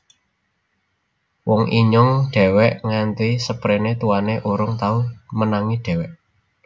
Wong Inyong dewek Nganti seprene tuane Urung tau Menangi Dewek